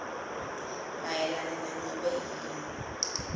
mayelana nanobe yini